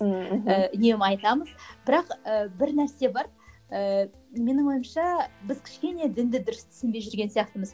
мхм і үнемі айтамыз бірақ ііі бір нәрсе бар ііі менің ойымша біз кішкене дінді дұрыс түсінбей жүрген сияқтымыз